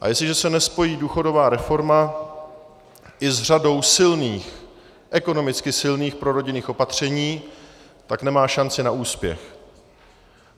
A jestliže se nespojí důchodová reforma i s řadou silných, ekonomicky silných prorodinných opatření, tak nemá šanci na úspěch.